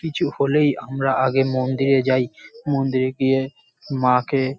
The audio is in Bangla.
কিছু হলেই আমরা আগে মন্দিরে যাই। মন্দিরে গিয়ে মাকে --